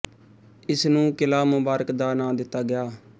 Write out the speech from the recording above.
ਇਸ ਨੂੰ ਕਿਲ੍ਹਾ ਮੁਬਾਰਕ ਦਾ ਨਾਂ ਦਿੱਤਾ ਗਿਆ